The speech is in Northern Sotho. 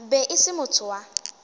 be e se motho wa